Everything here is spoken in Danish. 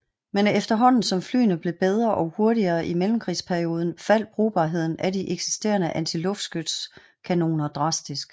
Men efterhånden som flyene blev bedre og hurtigere i mellemkrigsperioden faldt brugbarheden af de eksisterende antiluftskytskanoner drastisk